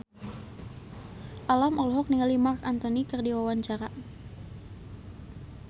Alam olohok ningali Marc Anthony keur diwawancara